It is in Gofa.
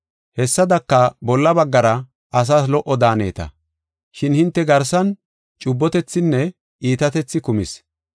Hessadaka, bolla baggara asas lo77o daaneta. Shin hinte garsan cubbotethinne iitatethi kumis.